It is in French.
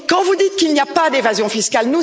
Vous dites qu'il n'y a pas d'évasion fiscale.